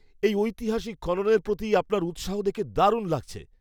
এই ঐতিহাসিক খননের প্রতি আপনার উৎসাহ দেখে দারুণ লাগছে!